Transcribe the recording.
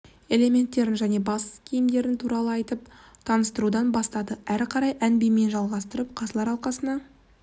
элементтерін және бас киімдері туралы айтып таныстырудан бастады әрі қарай ән бимен жалғастырып қазылар алқасына